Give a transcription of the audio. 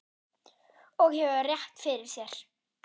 Og hefur rétt fyrir sér.